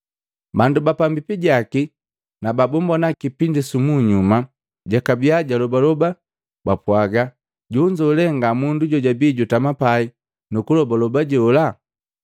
Bandu bapambipi jaki na babumbona kipindi sumunyuma jakabiya julobaloba, bapwaga, “Jonzo le nga mundu jojabii jutama pai nukulobaloba jola?”